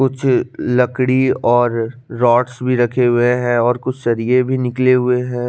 कुछ लकड़ी और रॉड भी रखे हुए है और कुक शरिये भी निकले हुए है ।